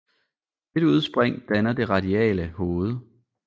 Dette udspring danner det radiale hoved